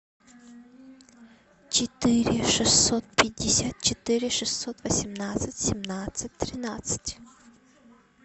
четыре шестьсот пятьдесят четыре шестьсот восемнадцать семнадцать тринадцать